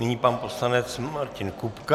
Nyní pan poslanec Martin Kupka.